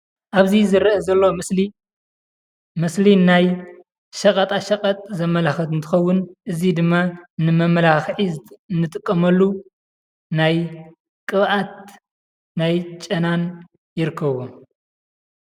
ኣብዚ ዝርአ ዘሎ ምስሊ ምስሊ ናይ ሸቐጣ ሸቐጥ ዘመላኽት እንትኸውን እዚ ድማ ንመማላክዒ እንጥቀመሉ ናይ ቅብኣት ናይ ጨናን ይርከብዎም።